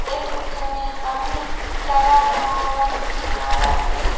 एक रिक्से में एक आदमी चला रहा हुआ है रिक्सावला एक --